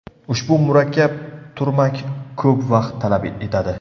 Ushbu murakkab turmak ko‘p vaqt talab etadi.